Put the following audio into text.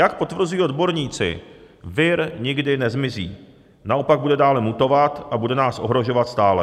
Jak potvrzují odborníci, vir nikdy nezmizí, naopak bude dále mutovat a bude nás ohrožovat stále.